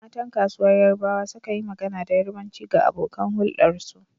Matan kasuwar yarbawa sukan yi magana da Yarbanci ga abokan huldarsu.